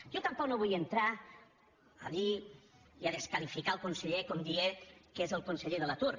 jo tampoc no vull entrar allí i a desqualificar el conseller com dient que és el conseller de l’atur